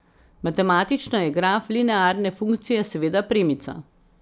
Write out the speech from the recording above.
Matematično je graf linearne funkcije seveda premica.